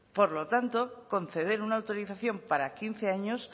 por lo tanto conceder una autorización para quince años